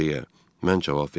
Yaxşı deyə mən cavab verdim.